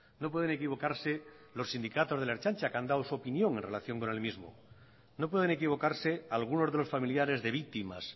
no pueden equivocarse los sindicatos de la ertzaintza que han dado su opinión en relación con el mismo no pueden equivocarse algunos de los familiares de víctimas